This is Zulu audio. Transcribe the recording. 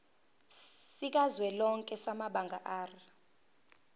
sikazwelonke samabanga r